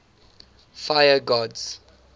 fire gods